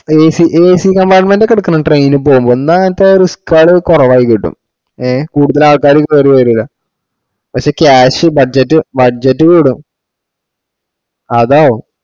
ഏ acaccompartment ഒക്കെ എടക്കണം train പോവ്മ്പൊ എന്താന്ന് വെച്ചാ risk ൾ കൊറവായി കിട്ടുംകൂടുതൽ ആൾക്കാരും കേറി വരില്ല പഷേ cash budget budget കൂടും അതാവും